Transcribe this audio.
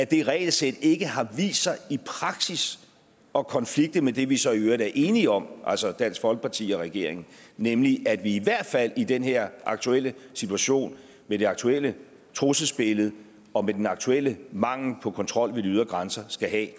det regelsæt ikke har vist sig i praksis at konflikte med det vi så i øvrigt er enige om altså dansk folkeparti og regeringen nemlig at vi i hvert fald i den her aktuelle situation med det aktuelle trusselsbillede og med den aktuelle mangel på kontrol ved de ydre grænser skal have